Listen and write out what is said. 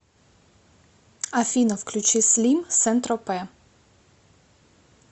афина включи слим сен тропе